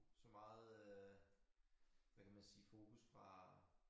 Så meget øh hvad kan man sige fokus fra